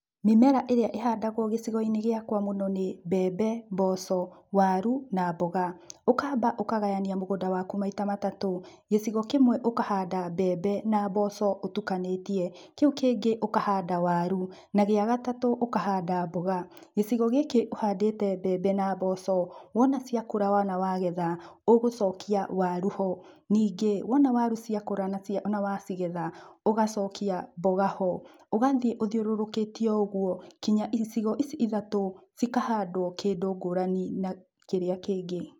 Mĩmera ĩrĩa ĩhandagwo gĩcigo-inĩ gĩakwa mũno nĩ, mbembe, mboco, waru na mboga. Ũkamba ũkagayania mũgũnda waku maita matatũ. Gĩcigo kĩmwe ũkahanda mbembe na mboco ũtukanĩtie, kĩu kĩngĩ ũkahanda waru, na gĩa gatatu ũkahanda mboga. Gĩcigo gĩkĩ ũhandĩte mbembe na mboco, wona ciakũra na wagetha, ũgũcokia waru ho. Ningĩ wona waru cia kũra na cia na wacigetha ũgacokia mboga ho. Ũgathiĩ uthiũrũrũkĩtie oũguo, kinya icigo ici ithatũ cikahaandwo kĩndũ ngũrani na kĩrĩa kĩngi.